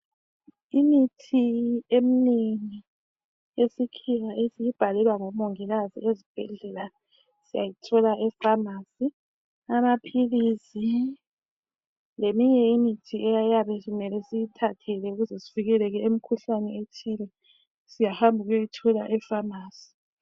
Imithi eminengi eyesikhiwa esiyibhalelwa ngomongikazi ezibhedlela siyayithola ephamarcy. Amaphilisi leminye imithi eyabe simele siyithathele ukuze sivikeleke emikhuhlaneni ethile, siyahamba siyeyithola ephamarcy.